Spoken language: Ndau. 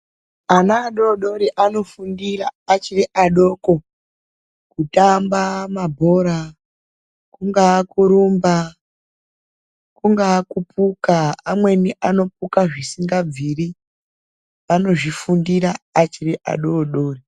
Ana adodori anofundira achiri adoko kutamba mabhora, kungaa kurumba, kungaa kuphuka, amweni anophuka zvisingabviri anozvifundira achiri adodori.